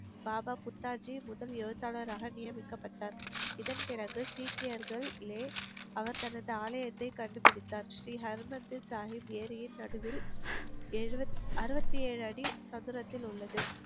பாபா புத்தாச்சி முதல் எழுத்தாளராக நியமிக்கப்பட்டார் இதன் பிறகு சீக்கியர்கள் லே அவர் தனது ஆலயத்தை கண்டுபிடித்தார் ஸ்ரீ ஹர் மந்தர் சாகிப் ஏரியின் நடுவில் ஏழுவத் அறுபத்தி ஏழு அடி சதுரத்தில் உள்ளது